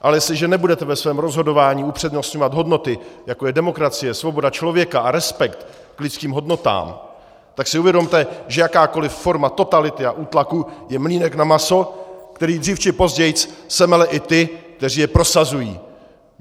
Ale jestliže nebudete ve svém rozhodování upřednostňovat hodnoty, jako je demokracie, svoboda člověka a respekt k lidským hodnotám, tak si uvědomte, že jakákoliv forma totality a útlaku je mlýnek na maso, který dřív či později semele i ty, kteří je prosazují.